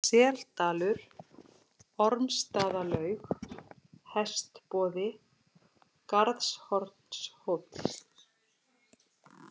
Seldalur, Ormsstaðalaug, Hestboði, Garðshornshóll